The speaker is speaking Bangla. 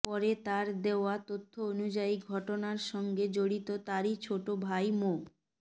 পরে তার দেওয়া তথ্য অনুযায়ী ঘটনার সঙ্গে জড়িত তারই ছোট ভাই মো